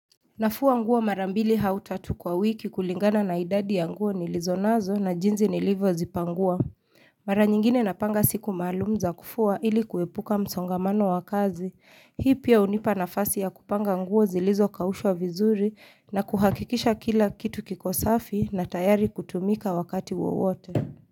Nafua nguo marambili hautatu kwa wiki kulingana na idadi ya nguo nilizo nazo na jinsi nilivyo zipangua. Mara nyingine napanga siku maalum za kufua ili kuepuka msongamano wakazi. Hii pia unipa nafasi ya kupanga nguo zilizo kaushwa vizuri na kuhakikisha kila kitu kikosafi na tayari kutumika wakati wowote.